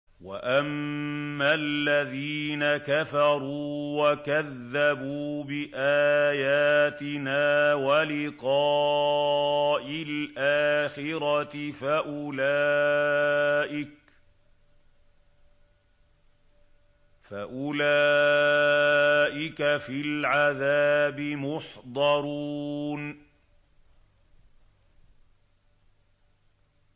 وَأَمَّا الَّذِينَ كَفَرُوا وَكَذَّبُوا بِآيَاتِنَا وَلِقَاءِ الْآخِرَةِ فَأُولَٰئِكَ فِي الْعَذَابِ مُحْضَرُونَ